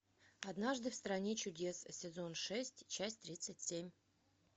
однажды в стране чудес сезон шесть часть тридцать семь